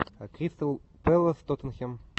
кристал пэлас тоттенхэм